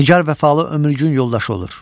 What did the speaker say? Nigar vəfalı ömürgün yoldaşı olur.